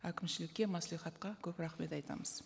әкімшілікке мәслихатқа көп рахмет айтамыз